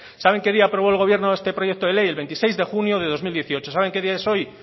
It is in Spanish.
saben qué día aprobó el gobierno este proyecto de ley el veintiséis de junio de dos mil dieciocho saben qué día es hoy